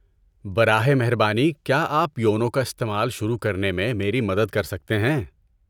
براہ مہربانی کیا آپ یونو کا استعمال شروع کرنے میں میری مدد کر سکتے ہیں۔